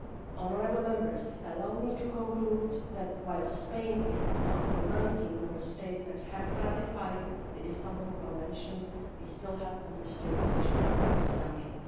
Honourable Members, allow me to conclude that, while Spain is among the 19 Member States that have ratified the Istanbul Convention, we still have Member States which have not done so yet.